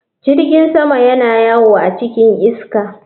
Jirgin sama yana yawo a cikin iska.